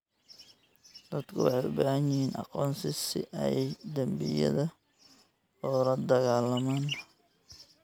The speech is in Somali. Dadku waxay u baahan yihiin aqoonsi si ay dembiyada ula dagaallamaan.